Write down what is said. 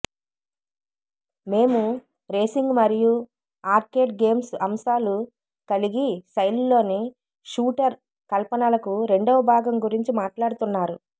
మేము రేసింగ్ మరియు arcade games అంశాలు కలిగి శైలిలో షూటర్ కల్పనలకు రెండవ భాగం గురించి మాట్లాడుతున్నారు